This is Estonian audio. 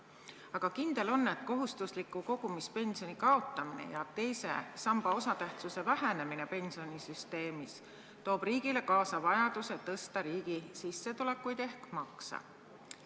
Aga kindel on, et kohustusliku kogumispensioni kaotamine ja teise samba osatähtsuse vähenemine pensionisüsteemis toob riigile kaasa vajaduse tõsta riigi sissetulekuid ehk makse.